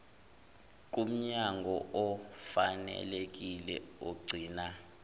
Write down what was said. kumnyango ofanelekile ogcina